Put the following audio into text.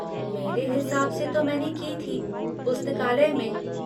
मेरे हिसाब से तो मैंने की थी, पुस्तकालय में।